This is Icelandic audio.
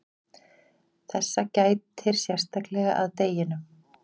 þessa gætir sérstaklega að deginum